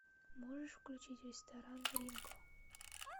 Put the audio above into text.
можешь включить ресторан ринго